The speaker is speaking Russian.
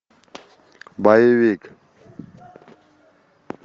боевик